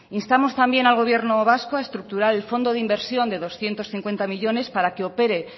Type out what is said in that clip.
instamos también al gobierno vasco a estructurar el fondo de inversión de doscientos cincuenta millónes para que opere